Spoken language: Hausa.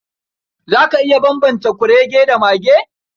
Za ka iya bambanta kurege da mage?